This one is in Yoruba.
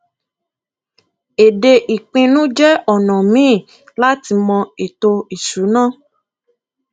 èdè ìpínu jẹ ona míì láti mọ ètò ìṣúná